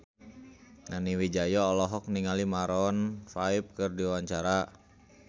Nani Wijaya olohok ningali Maroon 5 keur diwawancara